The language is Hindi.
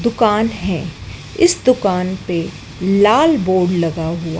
दुकान है इस दुकान पे लाल बोर्ड लगा हुआ--